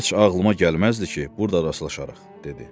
Heç ağlıma gəlməzdi ki, burda rastlaşarıq, dedi.